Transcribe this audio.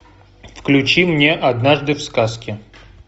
включи мне однажды в сказке